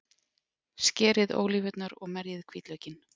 Skerið ólívurnar og merjið hvítlaukinn.